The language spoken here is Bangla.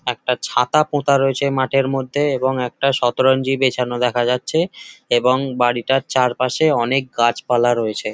একটা ছাতা পোতা রয়েছে মাঠের মধ্যে এবং একটা শতরঞ্চি বেছানো দেখা যাচ্ছে এবং বাড়িটার চারপাশে অনেক গাছপালা দেখা যাচ্ছে।